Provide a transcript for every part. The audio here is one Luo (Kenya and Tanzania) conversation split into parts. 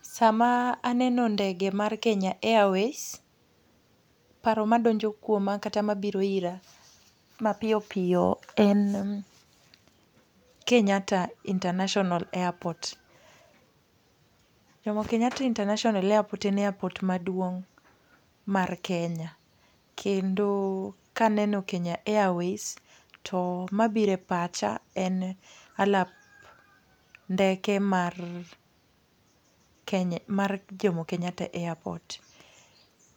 Sama aneno ndege mar Kenya Airways, paro madonjo kuoma kata mabiro ira mapiyo piyo en Kenyatta International Airport. Jomo Kenyatta International Airport en airport maduong' mar Kenya, kendo kaneno Kenya Airways to mabire pacha en alap ndeke mar Kenya mar Jomo Kenyatta Airport.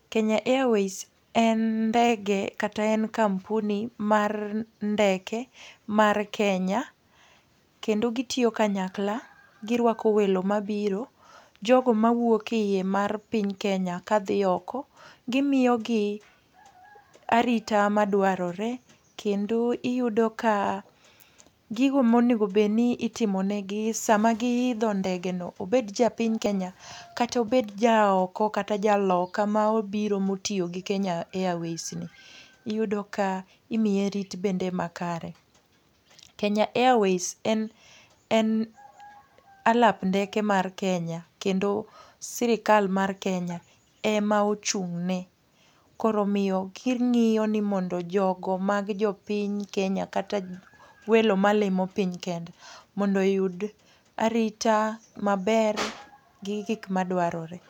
Kenya Airways en ndege kata en kampuni mar ndeke mar Kenya kendo gitiyo kanyakla, girwako welo mabiro. Jogo mawuok iye mar piny Kenya kadhi oko, gimiyo gi arita madwarore kendo iyudo ka gigo monego bedni itimonegi sama giidho ndegeno, obed japiny Kenya kata obed ja oko kata jaloka ma obiro motiyo gi Kenya Airways ni. Iyudo ka imiye rit bende makare. Kenya Airways en en alap ndeke mar Kenya kendo sirikal mar Kenya ema ochung'ne. Koro omiyo, king'iyo ni mondo jogo mag jopiny Kenya kata welo ma limo piny Kenya mondo oyud arita maber gi gik madwarore.